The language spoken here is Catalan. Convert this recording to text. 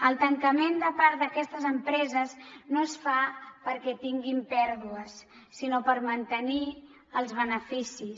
el tancament de part d’aquestes empreses no es fa perquè tinguin pèrdues sinó per mantenir els beneficis